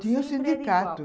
Tinha o sindicato.